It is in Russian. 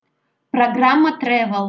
программа тревел